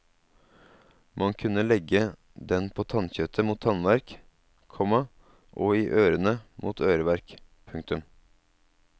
Man kunne legge den på tannkjøttet mot tannverk, komma og i ørene mot øreverk. punktum